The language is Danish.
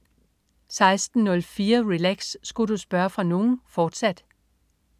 16.04 Relax. Sku' du spørge fra nogen?, fortsat